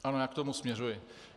Ano, já k tomu směřuji.